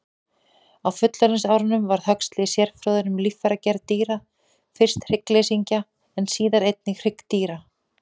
Á fullorðinsárum varð Huxley sérfróður um líffæragerð dýra, fyrst hryggleysingja en síðar einnig hryggdýra.